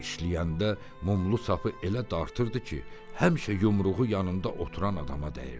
İşləyəndə mumlu sapı elə dartırdı ki, həmişə yumruğu yanında oturan adama dəyirdi.